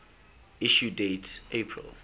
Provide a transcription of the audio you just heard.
issue date april